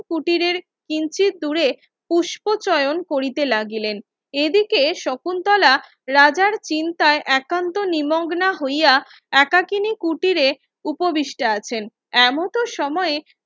কুটিরের কিঞ্চিৎ দূরে পুস্প চয়ন করিতে লাগিলেন এইদিকে শকুন্তলা রাজার চিন্তায় একান্ত নিমগ্না হইয়া একাকিনী কুটিরে উপবৃষ্ঠা আছেন এমত সময়ে